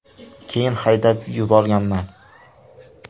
Keyin haydab yuborganman.